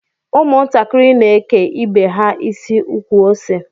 Ụmụ ntakịrị n'eke ibe ha isi ukwuose